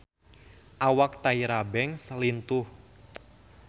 Awak Tyra Banks lintuh